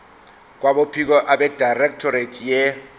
kwabophiko abedirectorate ye